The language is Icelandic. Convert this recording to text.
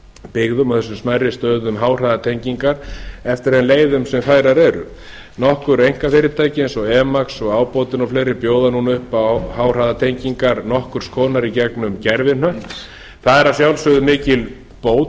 byggðum og þessum smærri stöðum háhraðatengingar eftir þeim leiðum sem færar eru nokkur einkafyrirtæki eins og emax ábótinn og fleiri bjóða núna upp á háhraðatengingar nokkurs konar í gegnum gervihnött það er að sjalfsögðu mikil bót